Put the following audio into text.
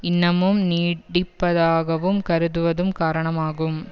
இன்னமும் நீடிப்பதாகக் கருதுவதும் காரணமாகும்